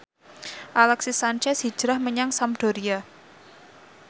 Alexis Sanchez hijrah menyang Sampdoria